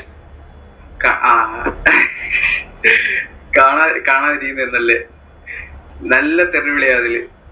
അഹ് കാണാതികാണാതിരിക്കുന്നയിരുന്നു നല്ലേ നല്ല തെറി വിളിയാ അതില്.